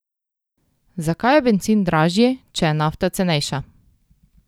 Zakaj je bencin dražji, če je nafta cenejša?